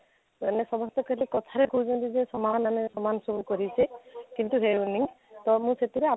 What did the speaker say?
ଏମାନେ ସମସ୍ତେ ଖାଲି କଥାରେ କହୁଛନ୍ତି ଯେ ସମାନ ଆମେ ସମାନ ସବୁ କରିଛେ କିନ୍ତୁ ହେଉନି ତ ମୁଁ ସେଥିରେ